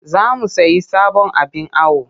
Za mu sayi sabon abin awo